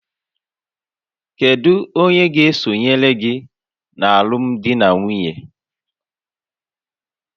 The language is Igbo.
Kedu onye ga-esonyere gị na alụmdi na nwunye?